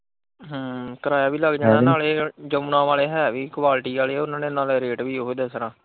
ਹਮ ਕਿਰਾਇਆ ਵੀ ਲੱਗ ਜਾਣਾ ਨਾਲੇ ਇਹ ਯਮੁਨਾ ਵਾਲੇ ਹੈ ਵੀ ਕੁਆਲਿਟੀ ਵਾਲੇ ਉਨਾਂ ਨੇ ਇੰਨਾਂ ਦਾ ਰੇਟ ਵੀ ਇਹੋ ਹੀ ਦੱਸਣਾ।